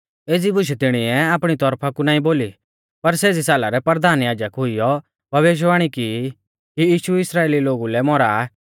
एज़ी बुशै तिणीऐ आपणी तौरफा कु नाईं बोली पर सेज़ी साला रै परधान याजक हुइयौ भविष्यवाणी की कि यीशु इस्राइली लोगु लै मौरा आ